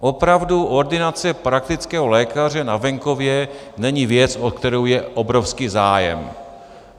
Opravdu ordinace praktického lékaře na venkově není věc, o kterou je obrovský zájem.